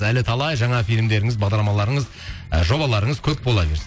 әлі талай жаңа фильмдеріңіз бағдарламаларыңыз ы жобаларыңыз көп бола берсін